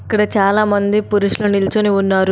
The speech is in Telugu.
ఇక్కడ చాలామంది పురుషులు నిల్చొని ఉన్నారు.